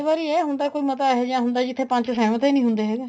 ਵਾਰੀ ਇਹ ਹੁੰਦਾ ਕੋਈ ਮਤਾ ਅਜਿਹੇ ਜਾ ਹੁੰਦਾ ਜਿੱਥੇ ਪੰਚ ਸਹਿਮਤ ਹੀ ਨਹੀਂ ਹੁੰਦੇ ਹੈਗੇ